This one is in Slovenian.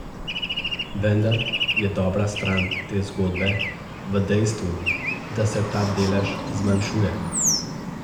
Vendar je dobra stran te zgodbe v dejstvu, da se ta delež zmanjšuje.